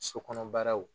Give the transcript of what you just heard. So kɔnɔ baaraw